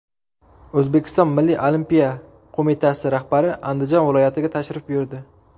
O‘zbekiston milliy olimpiya qo‘mitasi rahbari Andijon viloyatiga tashrif buyurdi.